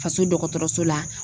Faso dɔgɔtɔrɔso la